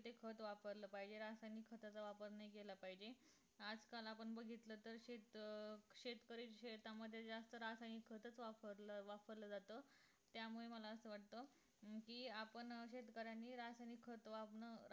ते खत वापरलं पाहिजे रासायनिक खताचा वापर नाही केला पाहिजे आज काल पण आपण बघितलं तर शेत अं शेतकरी शेतामध्ये जास्त रासायनिक खत च वापरल वापरलं जात त्यामुळे मला असं वाटत अं कि आपण शेतकऱ्यांनी रासायनिक खत